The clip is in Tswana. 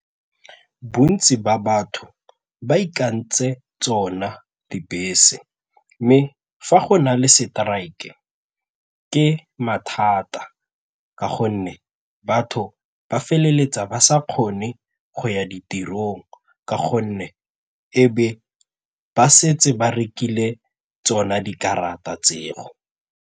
Bontsi ba batho ba ikantse tsona dibese mme fa go na le strike ke mathata ka gonne batho ba feleletsa ba sa kgone go ya ditirong ka gonne e be ba setse ba rekile tsona dikarata tseo.